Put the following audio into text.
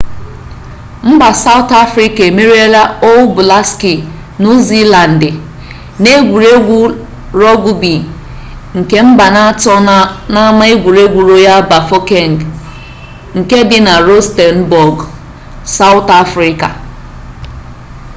mba sawụtụ afrịka emeriela ọl bụlaksị nuu ziilandị n'egwuregwu rọgụbi nke mbanaatọ n'ama egwuregwu royal bafokeng nke dị na rọstenbọgụ sawụtụ afrịka